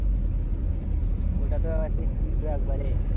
ওটাতো তিতে একেবারে।